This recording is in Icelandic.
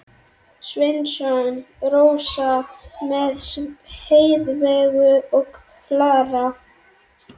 Sveinsson, Rósa með Heiðveigu og Klara.